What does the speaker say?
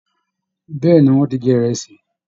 Bẹ̀ẹ́ni, wọn ti jẹ ìrẹsì.